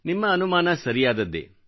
ನಿಮ್ಮ ಅನುಮಾನ ಸರಿಯಾದದ್ದೇ